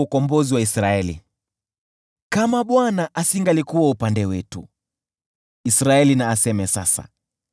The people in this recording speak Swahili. Kama Bwana asingalikuwa upande wetu; Israeli na aseme sasa: